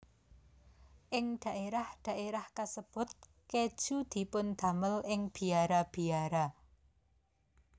Ing dhaérah dhaérah kasebut kèju dipundamel ing biara biara